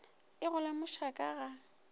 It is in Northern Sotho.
e go lemoša ka ga